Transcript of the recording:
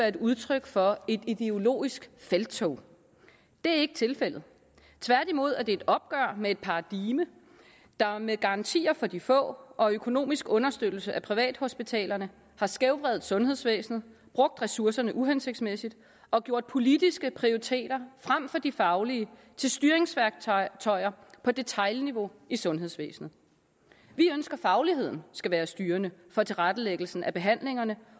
et udtryk for et ideologisk felttog det er ikke tilfældet tværtimod er det et opgør med et paradigme der med garantier for de få og økonomisk understøttelse af privathospitalerne har skævvredet sundhedsvæsenet brugt ressourcerne uhensigtsmæssigt og gjort politiske prioriteter frem for de faglige til styringsværktøjer på detailniveau i sundhedsvæsenet vi ønsker fagligheden skal være styrende for tilrettelæggelse af behandlingerne